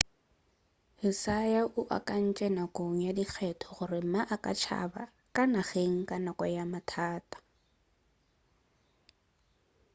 hsieh o akantše nakong ya dikgetho gore ma a ka tšaba ka nageng ka nako ya mathata